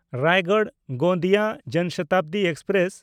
ᱨᱟᱭᱜᱚᱲ–ᱜᱳᱸᱫᱤᱭᱟ ᱡᱚᱱ ᱥᱚᱛᱟᱵᱫᱤ ᱮᱠᱥᱯᱨᱮᱥ